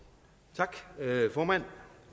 tak formand